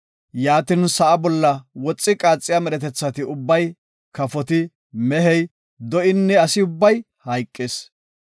Yaatin sa7a bolla woxi qaaxiya medhetethati ubbay, kafoti, mehey, do7inne, asi ubbay hayqis.